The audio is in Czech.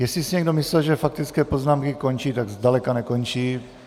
Jestli si někdo myslel, že faktické poznámky končí, tak zdaleka nekončí.